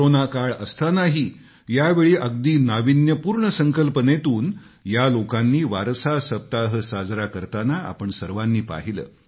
corona काळ असतानाही यावेळी अगदी नाविन्यपूर्ण संकल्पनेतून या लोकांनी वारसा सप्ताह साजरा करताना आपण सर्वांनी पाहिलं